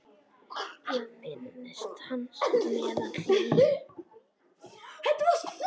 Ég minnist hans með hlýju.